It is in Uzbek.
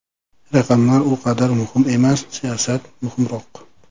Raqamlar u qadar muhim emas, siyosat muhimroq.